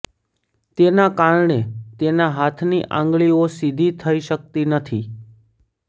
તેના કારણે તેના હાથની આંગળીઓ સીધી થઈ શકતી નથી